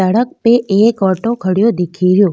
सड़क पे एक ऑटो खडेयो दिखेरो।